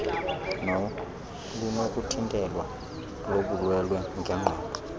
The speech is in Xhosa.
nolunokuthintelwa lobulwelwe ngenqondo